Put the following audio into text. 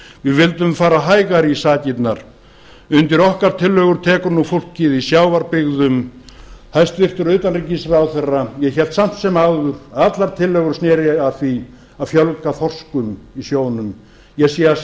við vildum fara hægar í sakirnar undir okkar tillögur tekur nú fólkið í sjávarbyggðum hæstvirts utanríkisráðherra ég hélt samt sem áður að allar tillögur sneru að því að fjölga þorskum í sjónum ég sé